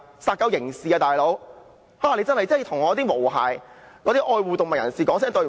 殺狗是刑事罪行。你必須向"毛孩"及愛護動物人士說句"對不起"。